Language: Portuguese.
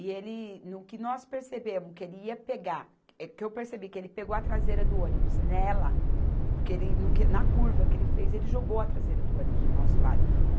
E ele, no que nós percebemos, que ele ia pegar, que eu percebi que ele pegou a traseira do ônibus nela, porque ele não que, na curva que ele fez, ele jogou a traseira do ônibus para o nosso lado.